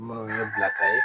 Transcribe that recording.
Minnu ye ne bila ka ye